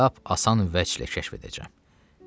Lap asan vəclə kəşf edəcəm.